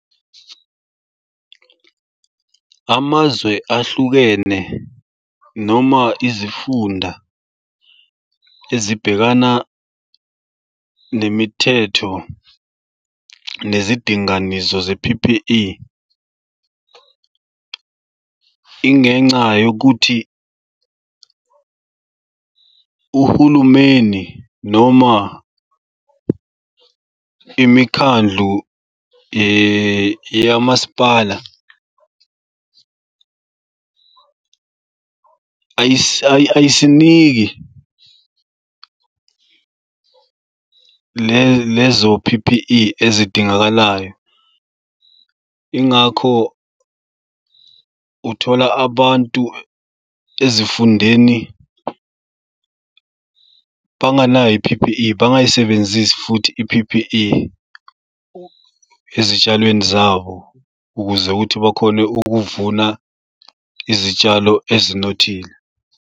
Amazwe ahlukene noma izifunda ezibhekana nemithetho nezidinganiso ze-P_P_E ingenca yokuthi uhulumeni noma imikhandlu yamasipala ayisiniki lezo P_P_E ezidingakalayo yingakho uthola abantu ezifundeni banganayo i-P_P_E bangayisebenzisi futhi i-P_P_E ezitshalweni zabo, ukuze ukuthi bakhone ukuvuna izitshalo ezinothile.